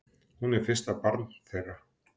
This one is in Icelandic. Hún er fyrsta barn þeirra.